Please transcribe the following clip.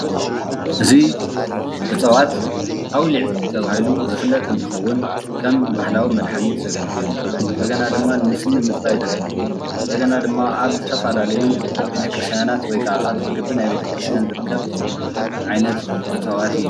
እዚ እፅዋት ኣዉሊዕ ተባሂሉ ዝፍለጥ እንትኸውን ከም ባህላዊ መድሓኒት ዘገልግል እንደገና ድማ ንስኒ ንምፅራይ ዘገልግል እንደገና ድማ ኣብ ዝተፈላለያ ቤተ ክርስቲያን ወይ ከዓ ኣብ ቀጥሪ ግቢ ናይ ቤተክርስቲያን ዝርከብ ዓይነት እፅዋት እዪ ።